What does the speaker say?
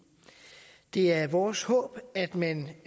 det er vores håb at man